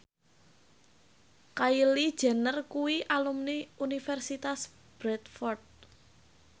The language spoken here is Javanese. Kylie Jenner kuwi alumni Universitas Bradford